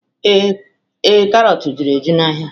Ee, karọt juru eju n'ahịa